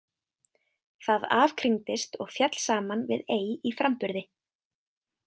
Það afkringdist og féll saman við ei í framburði.